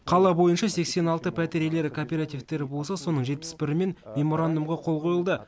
қала бойынша сексен алты пәтер иелері кооперативтері болса соның жетпіс бірімен меморандумға қол қойылды